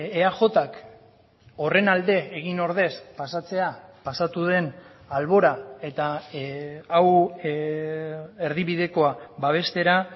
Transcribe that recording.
eajk horren alde egin ordez pasatzea pasatu den albora eta hau erdibidekoa babestera